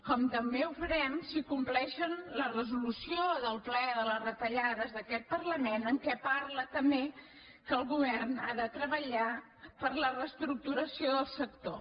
com també ho farem si compleixen la resolució del ple de les retallades d’aquest parlament en què parla també que el govern ha de treballar per a la reestructuració del sector